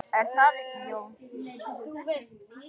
Er það ekki, Jón?